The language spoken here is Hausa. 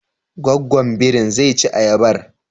Gwaggwan birin zai ci ayabar?